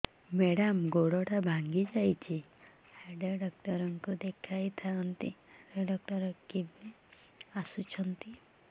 madam ଗୋଡ ଟା ଭାଙ୍ଗି ଯାଇଛି ହାଡ ଡକ୍ଟର ଙ୍କୁ ଦେଖାଇ ଥାଆନ୍ତି ହାଡ ଡକ୍ଟର କେବେ ଆସୁଛନ୍ତି